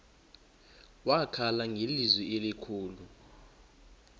wakhala ngelizwi elikhulu